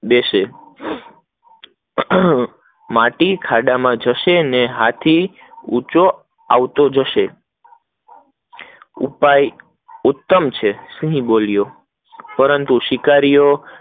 દેશે માટી ખડા માં જશે ને ખાડો ઉપર આવતો જશે ઉપાય ઉત્તમ છે સિંહ બોલ્યો પપરંતુ શિકારીઓ